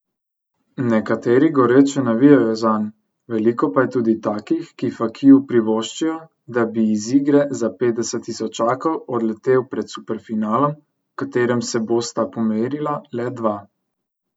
Nekateri goreče navijajo zanj, veliko pa je tudi takih, ki Fakiju privoščijo, da bi iz igre za petdeset tisočakov odletel pred superfinalom, v katerem se bosta pomerila le dva.